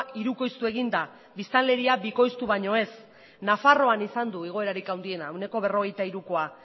hirukoiztu egin da biztanleria bikoiztu baino ez nafarroan izan du igoerarik handiena ehuneko berrogeita hirukoa